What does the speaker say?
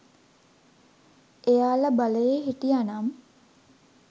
එයාලා බලයේ හිටියනම්.